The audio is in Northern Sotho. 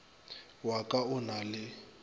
wa ka o na le